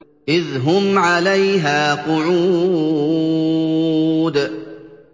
إِذْ هُمْ عَلَيْهَا قُعُودٌ